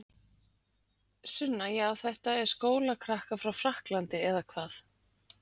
Sunna: Já þetta eru skólakrakkar frá Frakklandi eða hvað?